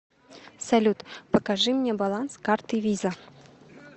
салют покажи мне баланс карты виза